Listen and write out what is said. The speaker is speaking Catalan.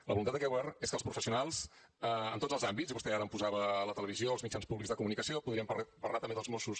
la voluntat d’aquest govern és que els professionals en tots els àmbits i vostè ara em posava la televisió els mitjans públics de comunicació podríem parlar també dels mossos